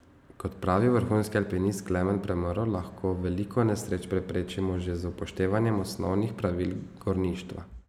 Kot pravi vrhunski alpinist Klemen Premrl, lahko veliko nesreč preprečimo že z upoštevanjem osnovnih pravil gorništva.